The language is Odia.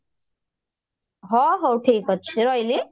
ହ ହଉ ଠିକ ଅଛି ରହିଲି